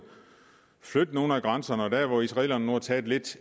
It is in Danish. flytte nogle af grænserne og der hvor israelerne har taget lidt